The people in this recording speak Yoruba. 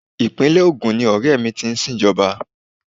Ìpínlè Ogun ni ọrẹ mi ti sin Ìjọba.